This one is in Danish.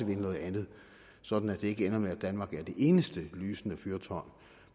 noget andet sådan at det ikke ender med at danmark er det eneste lysende fyrtårn